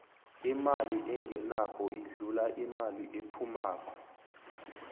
imali engenako idlula imali ephumako